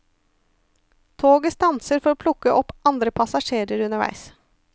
Toget stanser for å plukke opp andre passasjerer underveis.